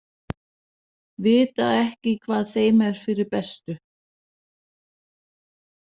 Vita ekki hvað þeim er fyrir bestu.